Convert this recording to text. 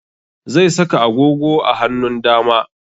Zai saka agogo a hanun dama